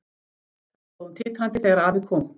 Þar stóð hún titrandi þegar afi kom.